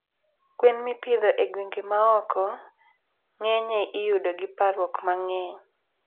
Gwen mipidho e gwenge ma oko ngenye iyudo gi parruok mangey